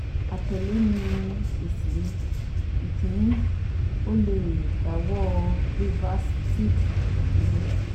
Atẹle ni esi mi: Ikini) O le dawọ brevactid duro